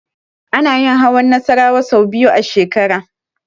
Ana yin hawan Nassarawa sau biyu a shekara.